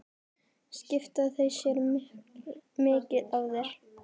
Skipta þau sér mikið af þér?